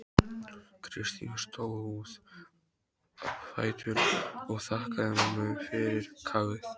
Kristín stóð á fætur og þakkaði mömmu fyrir kaffið.